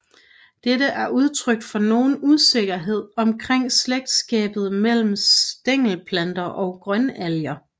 Dette er udtryk for nogen usikkerhed omkring slægtskabet mellem stængelplanter og grønalger